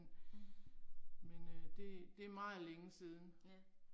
Mh. Ja